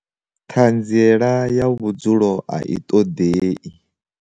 Ṱhanziela ya vhudzulo A I ṱoḓei.